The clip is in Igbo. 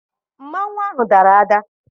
Mmanwụ ahụ dara ada.